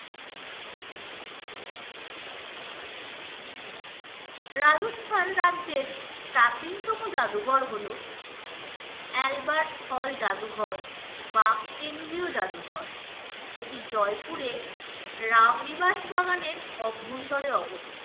রাজস্থান রাজ্যের প্রাচীনতম জাদুঘর হলো albert hall জাদুঘর বা কেন্দ্রীয় জাদুঘর এটি জয়পুরে রামনিবাস বাগানের অভ্যন্তরে অবস্থিত।